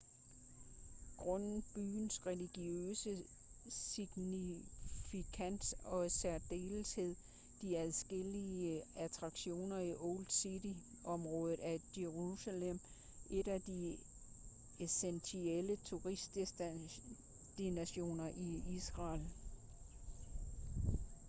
grundet byens religiøse signifikans og i særdeleshed de adskillige attraktioner i old city-området er jerusalem et af de essentielle turistdestinationer i israel